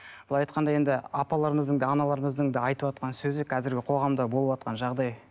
былай айтқанда енді апаларымыздың да аналарымыздың да айтыватқан сөзі қазіргі қоғамда болыватқан жағдай